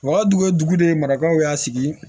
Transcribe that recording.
U ka dugu ye dugu de marataw y'a sigi